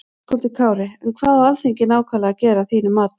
Höskuldur Kári: En hvað á Alþingi nákvæmlega að gera að þínum mati?